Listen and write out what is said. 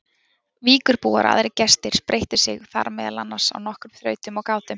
Víkurbúar og aðrir gestir spreyttu sig þar meðal annars á nokkrum þrautum og gátum.